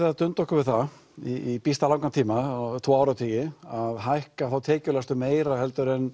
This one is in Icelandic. að dunda okkur við það í býsna langan tíma tvo áratugi að hækka þá tekjulægstu meira en